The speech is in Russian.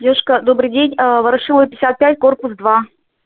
девушка добрый день ворошилова пятьдесят пять корпус два